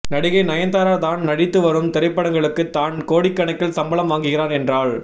நடிகை நயன்தாரா தான் நடித்து வரும் திரைப்படங்களுக்கு தான் கோடிக்கணக்கில் சம்பளம் வாங்குகிறார் என்றால்